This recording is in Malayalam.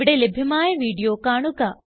ഇവിടെ ലഭ്യമായ വീഡിയോ കാണുക